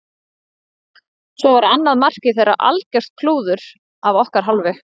Svo var annað markið þeirra algjört klúður af okkar hálfu.